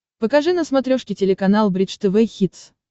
покажи на смотрешке телеканал бридж тв хитс